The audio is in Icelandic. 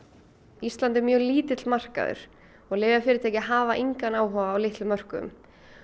ísland er mjög lítill markaður og lyfjafyrirtæki hafa engan áhuga á litlum mörkuðum